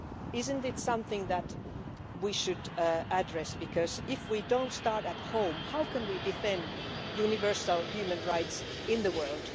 Is it not something that we should address, because if we don't start at home, how can we defend universal human rights in the world?